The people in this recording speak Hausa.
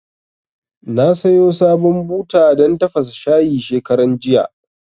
Na sayo sabon buta dan tafasa shayi shekaran jiya